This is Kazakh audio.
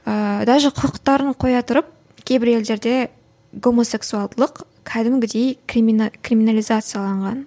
ыыы даже құқықтарын қоя тұрып кейбір елдерде гомосексуалдылық кәдімгідей криминализацияланған